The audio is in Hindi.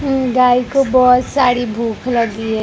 उम गाय को बहोत सारी भूख लगी है।